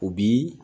U bi